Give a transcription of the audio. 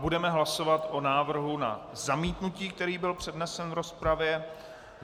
Budeme hlasovat o návrhu na zamítnutí, který byl přednesen v rozpravě.